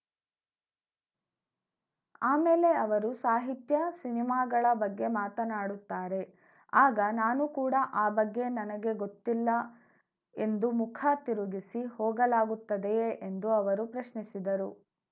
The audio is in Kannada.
ಆಮೇಲೆ ಅವರು ಸಾಹಿತ್ಯ ಸಿನಿಮಾಗಳ ಬಗ್ಗೆ ಮಾತಾನಾಡುತ್ತಾರೆ ಆಗ ನಾನು ಕೂಡ ಆ ಬಗ್ಗೆ ನನಗೆ ಗೊತ್ತಿಲ್ಲ ಎಂದು ಮುಖ ತಿರುಗಿಸಿ ಹೋಗಲಾಗುತ್ತದೆಯೇ ಎಂದು ಅವರು ಪ್ರಶ್ನಿಸಿದರು